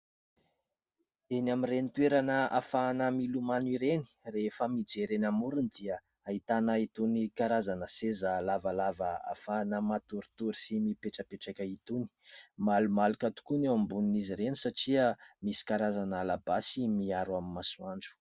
Eny amin'ireny toerana ahafahana milomano ireny. Rehefa mijery eny amorony dia ahitana itony karazana seza lavalava ahafahana matoritory sy mipetrapetraka itony. Malomaloka tokoa ny eo ambonin'izy ireny satria misy karazana labasy miaro amin'ny masoandro.